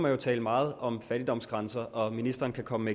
jo tale meget om fattigdomsgrænser og ministeren kan komme